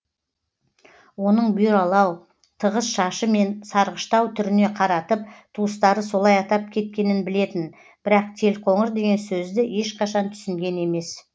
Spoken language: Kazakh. оның бұйралау тығыз шашы мен сарғыштау түріне қаратып туыстары солай атап кеткенін білетін бірақ телқоңыр деген сөзді ешқашан түсінген емес